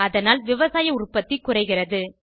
அதனால் விவசாய உற்பத்தி குறைகிறது